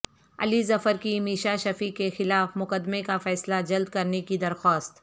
علی ظفرکی میشا شفیع کے خلاف مقدمے کا فیصلہ جلد کرنے کی درخواست